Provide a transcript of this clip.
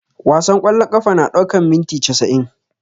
Wasan ƙwallon ƙafa na ɗaukan minti casa'in